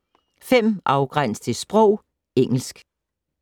5. Afgræns til sprog: engelsk